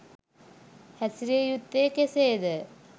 හැසිරිය යුත්තේ කෙසේද